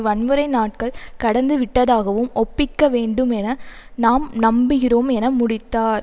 வன்முறை நாட்கள் கடந்து விட்டதாகவும் ஒப்பிக்க வேண்டும் என நாம் நம்புகிறோம் என முடித்தார்